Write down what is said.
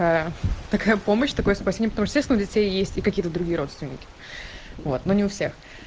такая помощь такое спасение потому что естественно у детей есть и какие-то другие родственники вот но не у всех